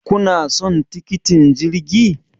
kuna son tikitin jirgi?